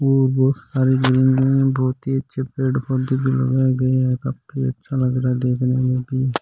और बहुत सारे लोग है बहुत ही अच्छे पेड़ पौधे भी लगाए गए है काफी अच्छा नजारा है देखने में भी।